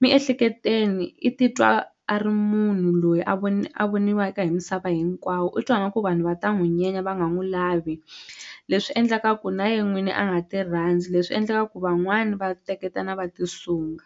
miehleketweni i titwa a ri munhu loyi a a voniwaka hi misava hinkwawo u twa ingaku vanhu va ta n'wi nyenya va nga n'wu lavi leswi endlaka ku na ye n'wini a nga ti rhandzi leswi endlekaka ku van'wani va teketana va ti sunga.